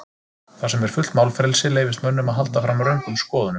Þar sem er fullt málfrelsi leyfist mönnum að halda fram röngum skoðunum.